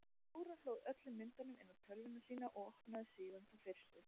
Dóra hlóð öllum myndunum inn á tölvuna sína og opnaði síðan þá fyrstu.